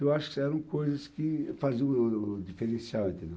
Eu acho que eram coisas que faziam o o diferencial, entendeu?